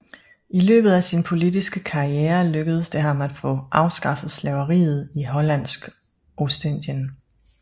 I løbet af sin politiske karriere lykkedes det ham at få afskaffet slaveriet i Hollandsk Ostindien